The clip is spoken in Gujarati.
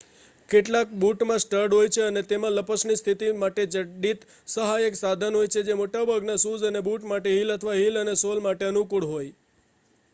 કેટલાક બૂટમાં સ્ટડ હોય છે અને તેમાં લપસણી સ્થિતિ માટે જડિત સહાયક સાધન હોય છે જે મોટાભાગના શૂઝ અને બૂટ માટે હીલ અથવા હીલ અને સોલ માટે અનુકૂળ હોય